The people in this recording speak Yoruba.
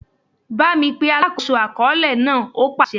Bámi pe alákòóso àkọọ́lẹ̀ náà! ó pàsẹ.